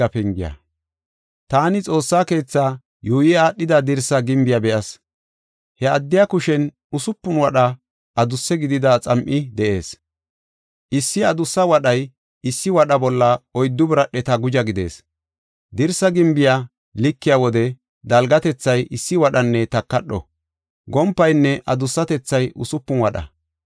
Taani Xoossa keetha yuuyi aadhida dirsa gimbiya be7as. He addiya kushen usupun wadha adusse gidida xam7i de7ees. Issi adussa wadhay issi wadho bolla oyddu biradheta guja gidees. Dirsa gimbiya likiya wode dalgatethay issi wadhanne takadho; gompaynne adussatethay usupun wadha.